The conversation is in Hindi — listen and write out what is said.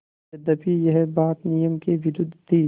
यद्यपि यह बात नियम के विरुद्ध थी